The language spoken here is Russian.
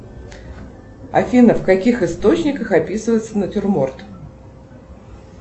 афина в каких источниках описывается натюрморт